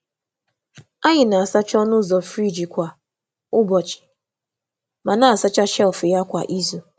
Anyị na-asacha ọnụ um ụzọ friji kwa ụbọchị um ma na-asacha shelf um ya kwa izu.